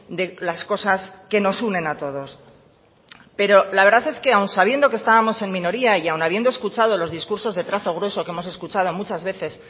de las cosas que nos unen a todos pero la verdad es que aún sabiendo que estábamos en minoría y aun habiendo escuchado los discursos de trazo grueso que hemos escuchado muchas veces